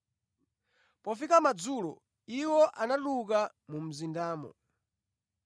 Pofika madzulo, iwo anatuluka mu mzindamo.